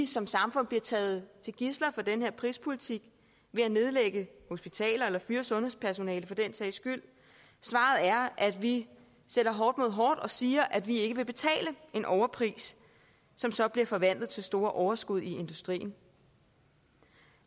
som samfund bliver taget til gidsler for den her prispolitik ved at nedlægge hospitaler eller fyre sundhedspersonale for den sags skyld svaret er at vi sætter hårdt mod hårdt og siger at vi ikke vil betale en overpris som så bliver forvandlet til store overskud i industrien